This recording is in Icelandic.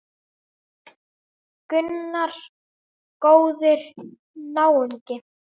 Gunnar: Góður náungi?